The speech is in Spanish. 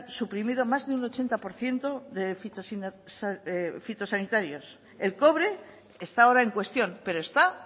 suprimido más de un ochenta por ciento de fitosanitarios el cobre está ahora en cuestión pero está